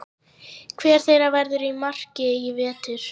Hver þeirra verður í markinu í vetur?